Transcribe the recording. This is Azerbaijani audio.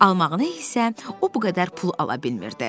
Almağını isə o bu qədər pul ala bilmirdi.